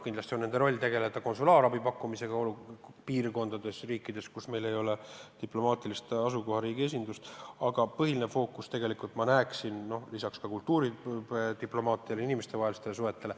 Kindlasti on aukonsulite roll tegeleda konsulaarabi pakkumisega riikides, kus meil ei ole diplomaatilist esindust, aga põhiline fookus peaks tegelikult olema suunatud kultuuridiplomaatiale, inimestevahelistele suhetele.